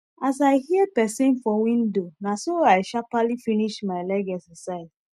as i hear pesin for window naso i sharperly finis my leg exercise